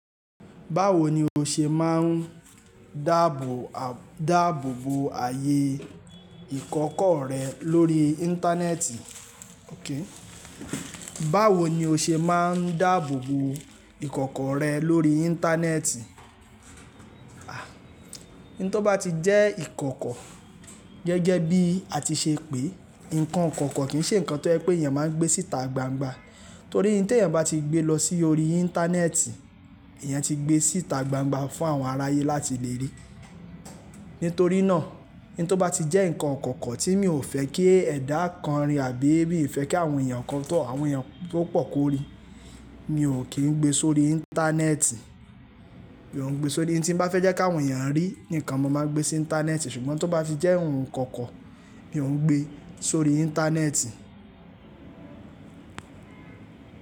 Báwo ni o ṣe máà ń dáàbòbo ààyè ìkọ̀kọ̀ rẹ lórí Íńtánẹ́ẹ̀tì? Báwo ni o ṣe máà ń dáàbòbo ìkọ̀kọ̀ rẹ lórí Íńtánẹ́ẹ̀tì? Ah! N tó bá ti jẹ́ ìkọ̀kọ̀ gẹ́gẹ́ bí a ti ṣe pé, ǹkan ikoko kì í ṣe ǹkan tó jẹ pé èèyàn máa ń gbé síta gbangba. Torí tí èèyàn bá ti gbé lọ sí orí Íńtánẹ́ẹ̀tì, èèyàn ti gbé síta gbangba fún àwọn aráyé láti lè rí. Nítorí náà, ohun tó bá ti jẹ́ ǹkan kankan tí mi ò fẹ́ kí ẹ̀dà kan rí àbí mi fẹ́ kí àwọn èèyàn kan tọ̀, àwọn èèyàn tó pọ̀ kórí, mi ò kín gbé sórí Íńtánẹ́ẹ̀tì. Mi ò ń gbé sórí. Ohun tin bá fẹ́ jẹ́ kí àwọn èèyàn rí, ni ǹkan mo máa ń gbé sí Íńtánẹ́ẹ̀tì. Ṣùgbọ́n tó bá ti jẹ́ ohun ikoko, mi ò ń gbé sórí Íńtánẹ́ẹ̀tì.